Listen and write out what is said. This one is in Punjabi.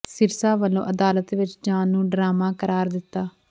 ਸਿਰਸਾ ਵਲੋਂ ਅਦਾਲਤ ਵਿਚ ਜਾਣ ਨੂੰ ਡਰਾਮਾ ਕਰਾਰ ਦਿਤਾ